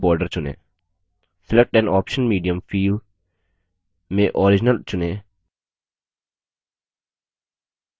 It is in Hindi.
select an output medium field में original चुनें अगले बटन पर क्लिक करें